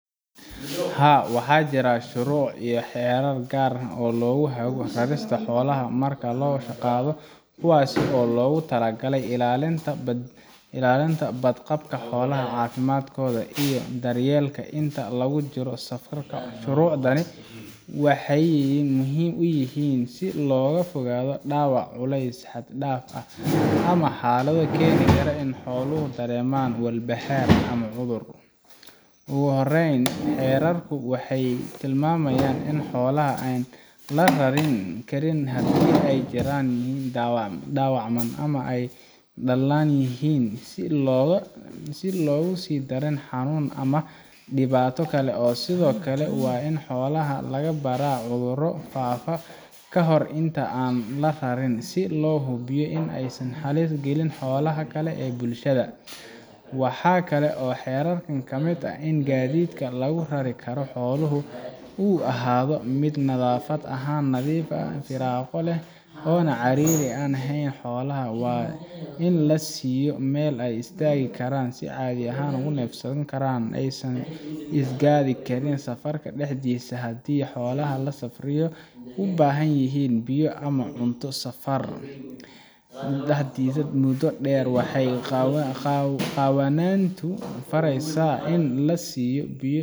haa waxaa jira shuruuc iyo xeerar gaar ah oo lagu hago rarista xoolaha marka la soo qaadayo kuwaas oo loogu talagalay ilaalinta badqabka xoolaha caafimaadkooda iyo daryeelkooda inta lagu jiro safarka shuruucdani waxay muhiim u yihiin si looga fogaado dhaawac culeys xad dhaaf ah ama xaalado keeni kara in xooluhu dareemaan walbahaar ama cudur ugu horreyn xeerarku waxay tilmaamayaan in xoolaha aan la rari karin haddii ay jiran yihiin dhaawacmaan ama ay daallan yihiin si aan loogu sii darin xanuun ama dhibaato kale sidoo kale waa in xoolaha laga baaraa cudurro faafa ka hor inta aan la rarinin si loo hubiyo in aysan halis gelin xoolaha kale ama bulshada waxaa kale oo xeerarka ka mid ah in gaadiidka lagu rari karo xooluhu uu ahaado mid nadaafad ahaan nadiif ah firaaqo leh oo aan ciriiri ku ahayn xoolaha waa in la siiyo meel ay istaagi karaan si caadi ah ugu neefsan karaan oo aysan isgaadhi karin safarka dhexdiisa haddii xoolaha la safrinayo ay u baahan yihiin biyo ama cunto safarka dartiis muddo dheer waxay qawaaniintu faraysaa in la siiyo biyo